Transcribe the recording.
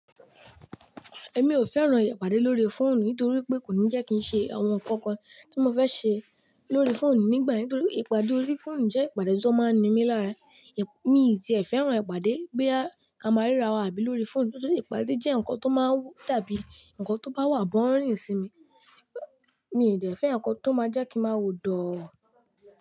Èmi ò fẹ́ran ìpàdé lórí fóònù nítorí pé kò ní jẹ́ kí n ṣe àwọn ǹkankan tí mo fẹ́ ṣe lórí fóònù nígbà yẹn. Nítorí ìpàdé lórí fóònù jẹ́ ìpàdé tó máa ń ními lára. Mi ti ẹ̀ fẹ́ran ìpàdé gbé kamara ra wà abí lórí fóònù, ṣùgbọ́n ìpàdé jẹ́ ǹkan tó máa ń dabi ǹkan tó bá wà bọ́rin sí mi. Èmi ò dè fẹ́ ǹkan tó máa jẹ́ kí n máa wo dọọ.